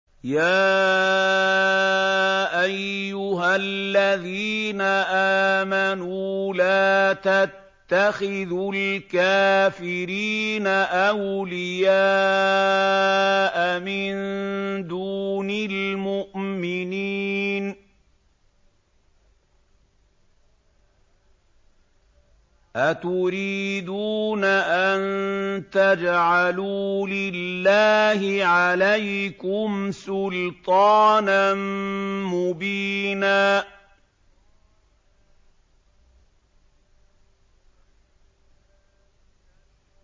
يَا أَيُّهَا الَّذِينَ آمَنُوا لَا تَتَّخِذُوا الْكَافِرِينَ أَوْلِيَاءَ مِن دُونِ الْمُؤْمِنِينَ ۚ أَتُرِيدُونَ أَن تَجْعَلُوا لِلَّهِ عَلَيْكُمْ سُلْطَانًا مُّبِينًا